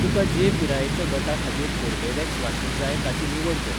तुका जे पिरायेच्या गटा खातीर कोर्बेवॅक्स वाशीन जाय ताची निवड कर.